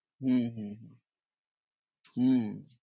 হম হম হম